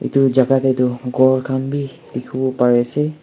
itu jaka teh tu ghor khan bi dikhiwo pari ase.